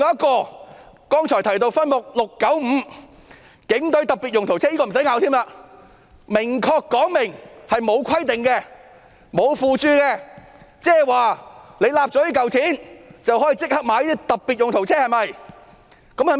而剛才提到的分目 695， 更不用爭拗，該分目明顯沒有規定、沒有附註說明，即取得這筆撥款後，即可購買特別用途車。